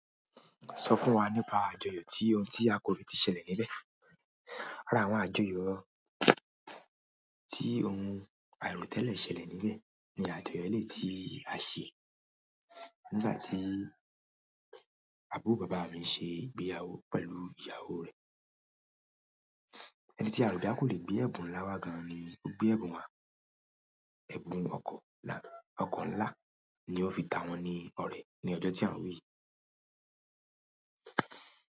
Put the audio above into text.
Sọ fún wa nípa àjọyọ̀ tí ohun tí a kò lè tí ṣẹlẹ̀ níbẹ̀. Lára àwọn àjọyọ̀ tí ohun àìròtẹ́lẹ̀ ṣẹlẹ̀ níbẹ̀ ni àjọyọ̀ lè tí a ṣe nígbà tí àbúrò bàbá mi ṣe ìgbéyàwó pẹ̀lú ìyàwó rẹ̀. Ẹni tí a rò dá kò lè gbé ẹ̀bùn láwá gan ni ó gbé ẹ̀bùn wa. Ẹ̀bùn ọkọ nlá ni ó fi ta wọ́n ni ọ̀rẹ́ ní ọjọ́ tí àn wí.